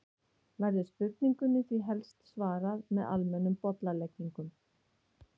Verður spurningunni því helst svarað með almennum bollaleggingum.